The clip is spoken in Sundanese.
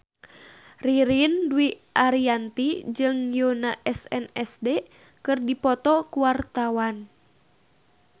Ririn Dwi Ariyanti jeung Yoona SNSD keur dipoto ku wartawan